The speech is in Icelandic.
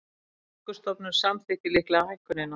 Orkustofnun samþykkir líklega hækkunina